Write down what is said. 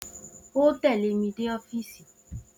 O ó tè̩lé mi dé ófíìsì!